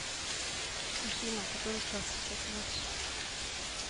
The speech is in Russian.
афина который час сейчас у нас